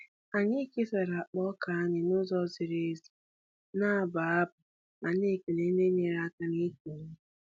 Anyị kesara akpa ọka anyị n'ụzọ ziri ezi, na-abụ abụ ma na-ekele ndị nyere aka n'ịkụ ihe.